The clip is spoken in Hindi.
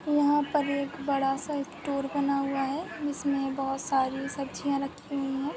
यहाँ पर एक बड़ासा स्टोर बना हुआ है जिसमे बहुत सारी सब्जिया रखी हुयी है।